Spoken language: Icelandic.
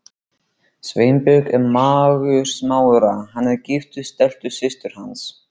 Sveinbjörn er mágur Smára, hann er giftur Stellu systur hans.